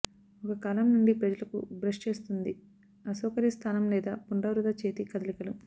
ఒక కాలం నుండి ప్రజలకు బ్రష్ చేస్తుంది అసౌకర్య స్థానం లేదా పునరావృత చేతి కదలికలు